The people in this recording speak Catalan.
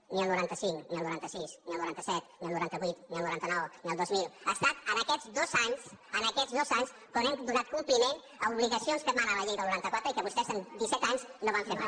ni el noranta cinc ni el noranta sis ni el noranta set ni el noranta vuit ni el noranta nou ni el dos mil ha estat en aquests dos anys en aquests dos anys quan hem donat compliment a obligacions que emana la llei del noranta quatre i que vostès amb disset anys no van fer mai